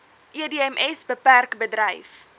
edms bpk bedryf